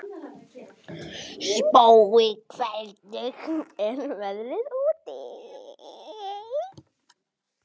Spói, hvernig er veðrið úti?